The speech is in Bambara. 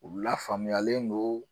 U lafaamuyalen don